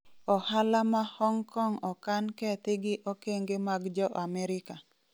ohala ma Hong Kong okan kethi gi okenge mag Jo Amerika